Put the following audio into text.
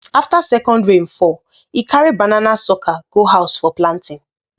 after second rain fall he carry banana sucker go house for planting